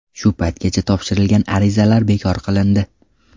Shu paytgacha topshirilgan arizalar bekor qilindi.